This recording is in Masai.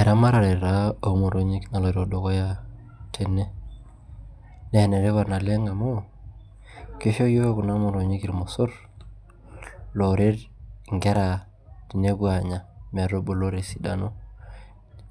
Eramatare taa omotonyi naloito dukuya tene ne enetipat naleng amu kisho yiok kuna motonyi irmosor onya nkera esidano